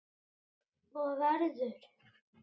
Og verður.